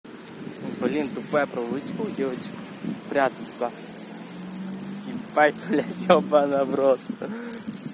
блин тупая привычка у девочек прятаться ебать блядь ёбана в рот